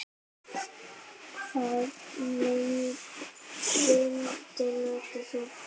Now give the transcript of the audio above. Hvaða ilmvatn notar þú?